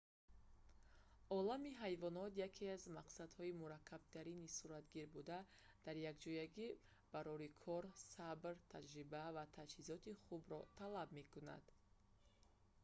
олами ҳайвонот яке аз мақсадҳои мураккабтарини суратгир буда дар якҷоягӣ барори кор сабр таҷриба ва таҷҳизоти хубро талаб мекунад